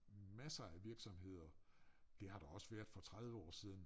Masser af virksomheder. Det har der også været for 30 år siden